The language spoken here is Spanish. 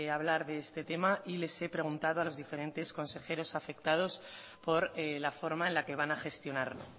hablar de este tema y les he preguntado a los diferentes consejeros afectados por la forma en la que van a gestionarlo